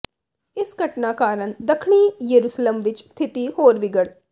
ਇਸ ਘਟਨਾ ਕਾਰਨ ਦੱਖਣੀ ਯੇਰੂਸ਼ਲਮ ਵਿਚ ਸਥਿਤੀ ਹੋਰ ਵਿਗੜ